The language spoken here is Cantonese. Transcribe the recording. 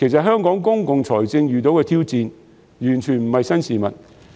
香港公共財政遇到挑戰，完全不是新事物。